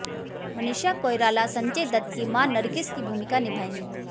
मनीषा कोइराला संजय दत्त की मां नरगिस की भूमिका निभाएंगी